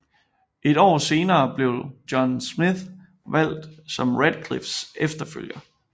Et år senere blev John Smith valgt som Ratcliffes efterfølger